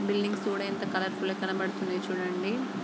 Buildings కూడా ఎంత colourful గా కనిపిస్తున్నాయి చుడండి.